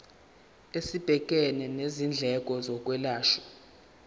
esibhekene nezindleko zokwelashwa